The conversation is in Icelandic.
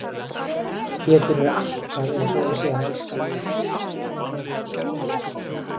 Pétur er alltaf einsog hann sé að elska mig í fyrsta skipti.